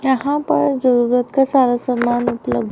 यहां पर जरूरत का सारा समान उपलब्ध--